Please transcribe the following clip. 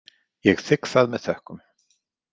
Ég þigg það með þökkum.